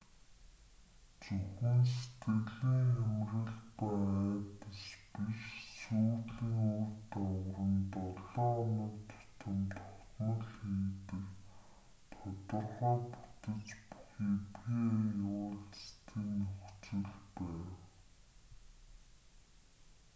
зөвхөн сэтгэлийн хямрал ба айдас биш сүйрлийн үр дагавар нь долоо хоног тутам тогтмол хийгдэх тодорхой бүтэц бүхий pa уулзалтын нөхцөл байв